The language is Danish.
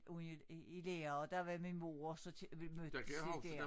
Ude i i lære og der var min mor og så vil mødtes de dér